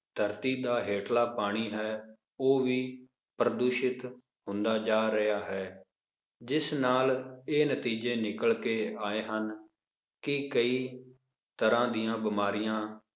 ਧਰਤੀ ਦਾ ਹੇਠਲਾ ਪਾਣੀ ਹੈ ਉਹ ਵੀ ਪ੍ਰਦੂਸ਼ਿਤ ਹੁੰਦਾ ਜਾ ਰਿਹਾ ਹੈ ਜਿਸ ਨਾਲ ਕਿ ਇਹ ਨਤੀਜੇ ਨਿਕਲ ਕੇ ਆਏ ਹਨ ਕੀ ਕਈ ਤਰ੍ਹਾਂ ਦੀਆਂ ਬਿਮਾਰੀਆਂ,